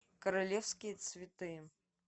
королевские цветы